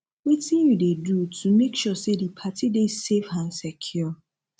wetin you dey do to make sure say di party dey safe and secure